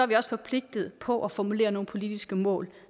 vi også forpligtet på at formulere nogle politiske mål